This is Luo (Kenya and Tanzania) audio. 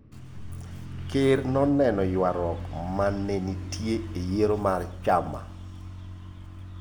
Ker noneno ywaruok ma ne nitie e yiero mar chama.